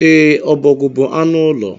E, ọbọgwu bú anụ ụlọ.